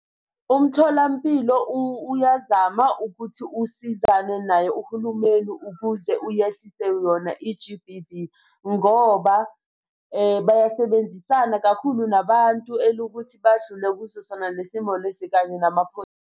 Umtholampilo uyazama ukuthi usizane naye uhulumeni ukuze uyehlise yona i-G_B_V. Ngoba bayasebenzisana kakhulu nabantu elukuthi badlule kuso sona le simo lesi kanye .